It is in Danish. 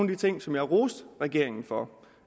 de ting som jeg roste regeringen for